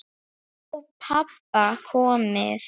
Frá pabba komið.